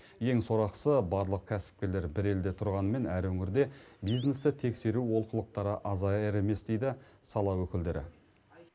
ең сорақысы барлық кәсіпкерлер бір елде тұрғанымен әр өңірде бизнесті тексеру олқылықтары азаяр емес дейді сала өкілдері